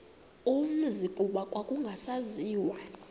umzi kuba kwakungasaziwa